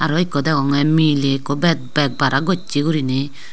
aro ekko degonge miley ekko bag bag barat gocche guriney.